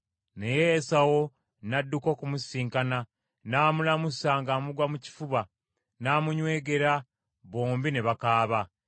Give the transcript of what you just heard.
Naye Esawu n’adduka okumusisinkana, n’amulamusa ng’amugwa mu kifuba n’amunywegera; bombi ne bakaaba.